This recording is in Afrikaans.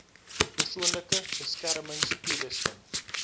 persoonlike beskermings toerusting